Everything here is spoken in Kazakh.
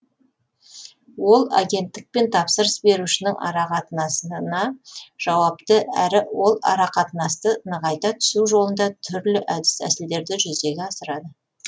ол агенттік пен тапсырыс берушінің арақатынасына жауапты әрі ол арақатынасты нығайта түсу жолында түрлі әдіс тәсілдерді жүзеге асырады